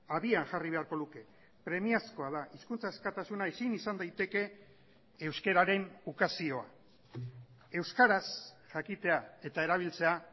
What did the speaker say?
abian jarri beharko luke premiazkoa da hizkuntza askatasuna ezin izan daiteke euskararen ukazioa euskaraz jakitea eta erabiltzea